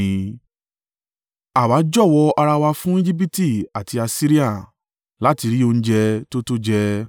Àwa jọ̀wọ́ ara wa fún Ejibiti àti Asiria láti rí oúnjẹ tó tó jẹ.